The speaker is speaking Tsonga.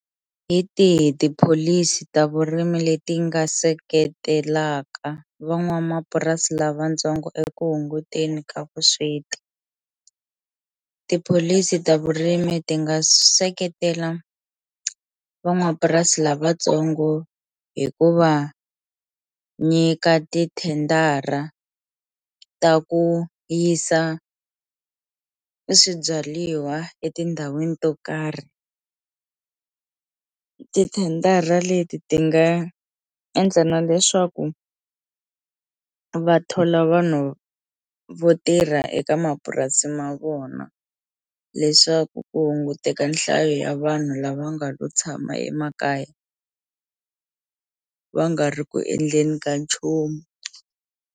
Hi tihi tipholisi ta vurimi leti nga seketelaka van'wamapurasi lavatsongo eku hunguteni ka vusweti, tipholisi ta vurimi ti nga seketela van'wapurasi lavatsongo hikuva nyika ti-tender-a ta ku yisa swibyaliwa etindhawini to karhi tithendara leti ti nga endla na leswaku va thola vanhu vo tirha eka mapurasi ma vona vona leswaku ku hunguteka nhlayo ya vanhu lava nga lo tshama emakaya va nga ri ku endleni ka nchumu.